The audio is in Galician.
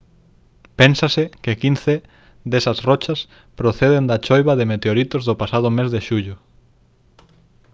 pénsase que quince desas rochas proceden da choiva de meteoritos do pasado mes de xullo